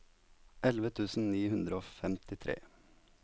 elleve tusen ni hundre og femtitre